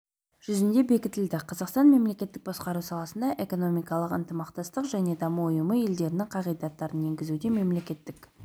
жүзінде бекітілді қазақстан мемлекеттік басқару саласында экономикалық ынтымақтастық және даму ұйымы елдерінің қағидаттарын енгізуде мемлекеттік